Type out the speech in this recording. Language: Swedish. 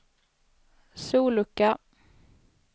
sollucka